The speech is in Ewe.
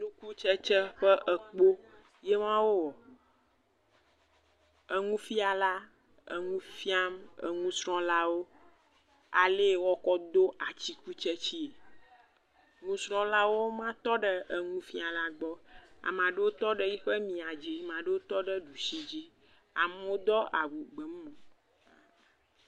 Atikutsetse ƒe ekpo yema wowɔ, enufiala enu fiam enusrɔ̃lawo ale wɔkɔ ado atikutsetsee, nusrɔ̃lawoe ma tɔ ɖe nuifiala ƒe mia dzi eɖewo tɔ ɖe ɖusi dzi, amewo do awu blu.